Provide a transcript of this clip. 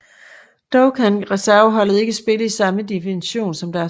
Dog kan reserveholdet ikke spille i samme division som deres førstehold